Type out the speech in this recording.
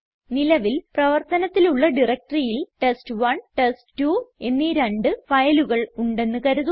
നിലവിൽ പ്രവർത്തനത്തിലുള്ള directoryയിൽ ടെസ്റ്റ്1 ടെസ്റ്റ്2 എന്നീ രണ്ട് ഫയലുകൾ ഉണ്ടെന്ന് കരുതുക